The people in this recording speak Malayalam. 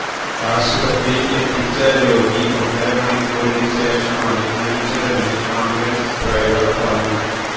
ആശുപത്രിയിൽ എത്തിച്ച രോഗി ഒന്നര മണിക്കൂറിന് ശേഷമാണ് മരിച്ചതെന്ന് ആംബുലൻസ് ഡ്രൈവർ പറഞ്ഞു